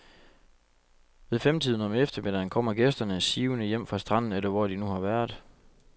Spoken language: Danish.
Ved femtiden om eftermiddagen kommer gæsterne sivende hjem fra stranden eller hvor de nu har været.